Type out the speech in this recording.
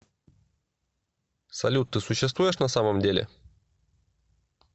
салют ты существуешь на самом деле